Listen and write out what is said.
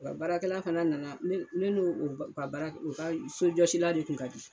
U ka baarakɛla fana nana ne n'u ka sojɔsila de kun ka di.